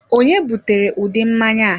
Ònye butere udu mmanya a?